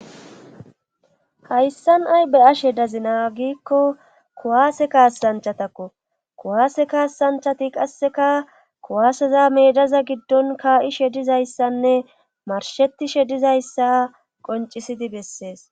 Hayssan ay be ashe dazina giikko kuwaase kaassanchatakko kuwaase kaassanchati qasseka kuwaaseza meedaza giddon kaa7ishe dizayssanne marshetishe dizayssa qoncisidi bessees.